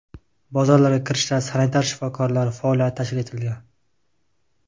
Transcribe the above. Bozorlarga kirishda sanitar-shifokorlar faoliyati tashkil etilgan.